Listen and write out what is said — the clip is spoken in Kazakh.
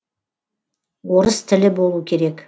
орыс тілі болу керек